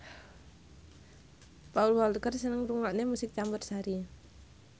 Paul Walker seneng ngrungokne musik campursari